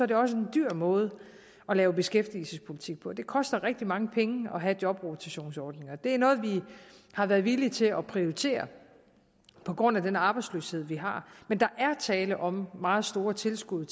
det også en dyr måde at lave beskæftigelsespolitik på det koster rigtig mange penge at have jobrotationsordninger det er noget vi har været villige til at prioritere på grund af den arbejdsløshed vi har men der er tale om meget store tilskud